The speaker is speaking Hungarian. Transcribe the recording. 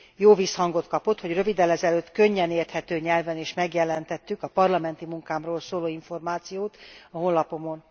Jó visszhangot kapott, hogy röviddel ezelőtt könnyen érthető nyelven is megjelentettük a parlamenti munkámról szóló információt a honlapomon.